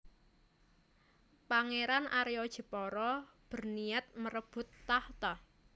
Pangeran Arya Jepara berniat merebut takhta